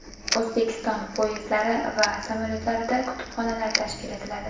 O‘zbekiston poyezdlari va samolyotlarida kutubxonalar tashkil etiladi.